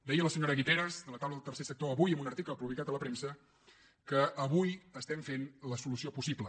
deia la senyora guiteras de la taula del tercer sector avui en un article publicat a la premsa que avui estem fent la solució possible